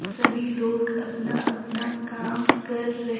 सभी लोग अपना अपना काम कर र--